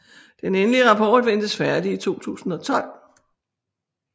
Den endelig rapport ventes færdig i 2012